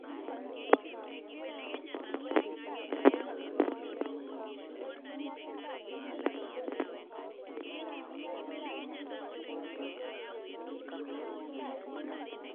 Olchani longera lemoyian orgoo egirae aibelekeny te Kenya.